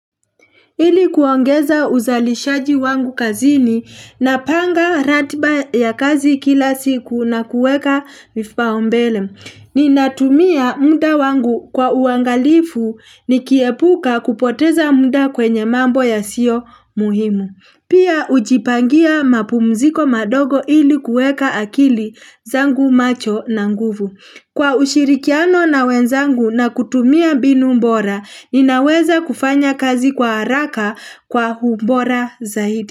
Ili kuongeza uzalishaji wangu kazini na panga ratiba ya kazi kila siku na kueka mifpao mbele. Ninatumia muda wangu kwa uangalifu nikiepuka kupoteza muda kwenye mambo ya sio muhimu. Pia ujipangia mapumziko madogo hili kueka akili zangu macho na nguvu. Kwa ushirikiano na wenzangu na kutumia binu mbora, ninaweza kufanya kazi kwa haraka kwa hubora zaidi.